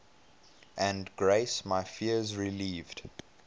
and grace my fears relieved